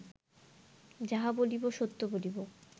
যাহা বলিব সত্য বলিব